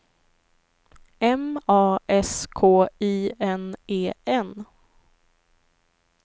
M A S K I N E N